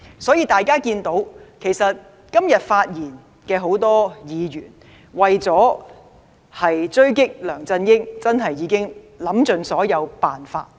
所以，大家看到很多今天發言的議員，為了追擊梁振英已想了很多辦法，但其結果如何？